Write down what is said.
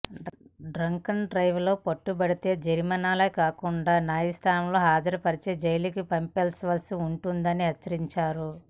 drunk and drive లో పట్టుబడితే జరిమానాలు కాకుండా న్యాయస్థానంలో హాజరు పరిచి జైలుకి పంపాల్సి ఉంటుందని హెచ్చరిం చారు